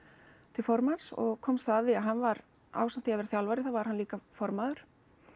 til formanns og komst þá að því að hann var ásamt því að vera þjálfari þá var hann líka formaður